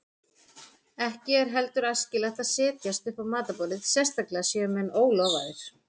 Ekki er heldur æskilegt að setjast upp á matarborðið, sérstaklega séu menn ólofaðir.